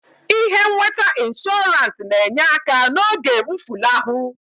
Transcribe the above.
Ihe nweta inshọrans na-enye aka n'oge mfụlahụ.